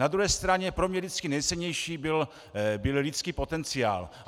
Na druhé straně pro mě vždycky nejcennější byl lidský potenciál.